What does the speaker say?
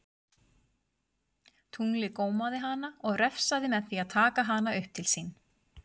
Tunglið gómaði hana og refsaði með því að taka hana upp til sín.